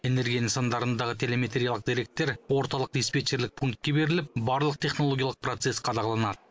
энергия нысандарындағы телеметриялық деректер орталық диспетчерлік пунктке беріліп барлық технологиялық процесс қадағаланады